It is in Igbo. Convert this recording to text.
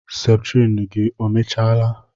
Septrin gị emechaala?